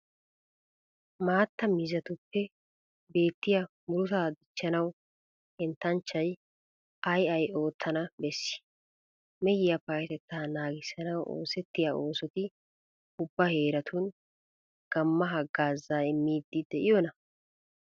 Maattaa miizzatuppe beettiya murutaa dichchanawu henttanchchay ay ay oottana bessii? Mehiya payyatettaa naagissanawu oosettiya oosoti ubba heeratun gamma haggaazaa immiiddi de'iyonaa?